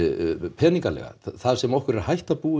peningalega þar sem okkur er hætta búin